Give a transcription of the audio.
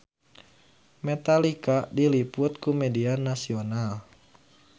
Metallica diliput ku media nasional